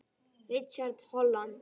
Richard Holland